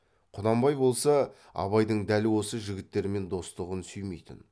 құнанбай болса абайдың дәл осы жігіттермен достығын сүймейтін